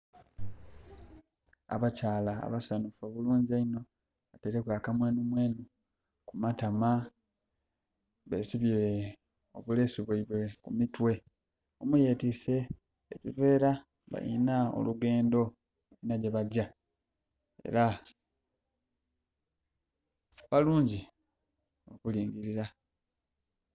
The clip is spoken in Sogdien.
Abakyala abasanhufu obulungi einho bateireku akamwenhu mwenhu ku matama, besibye obulesu bweibwe ku mitwe. Omu yetiise ebivera balinha olugendho, balinha gyebagya era balungi okulingirira.